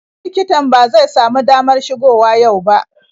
Likitan ba zai samu damar shigo wa yau ba.